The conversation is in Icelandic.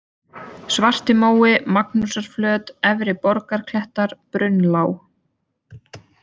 Svartimói, Magnúsarflöt, Efri-Borgarklettar, Brunnlág